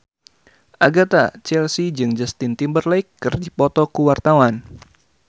Agatha Chelsea jeung Justin Timberlake keur dipoto ku wartawan